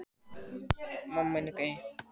Það hef ég gert alla ævi.